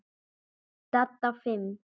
Dadda fimm.